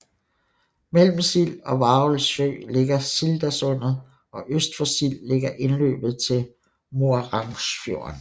Mellem Sild og Varaldsøy ligger Sildasundet og øst for Sild ligger indløbet til Maurangsfjorden